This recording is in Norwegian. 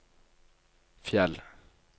Fjell